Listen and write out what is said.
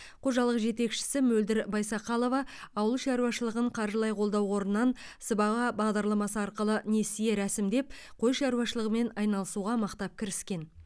қожалық жетекшісі мөлдір байсақалова ауыл шаруашылығын қаржылай қолдау қорынан сыбаға бағдарламасы арқылы несие рәсімдеп қой шаруашылығымен айналысуға мықтап кіріскен